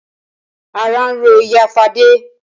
Ara ń ro ìyá Fadé.